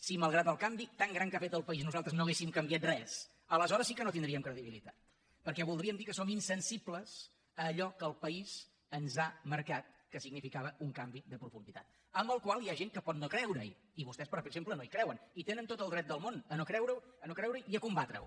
si malgrat el canvi tan gran que ha fet el país nosaltres no haguéssim canviat gens aleshores sí que no tindríem credibilitat perquè voldria dir que som insensibles a allò que el país ens ha marcat que significava un canvi de profunditat en el qual hi ha gent que pot no creure i vostès per exemple no hi creuen i tenen tot el dret del món a no creurehi i a combatre’l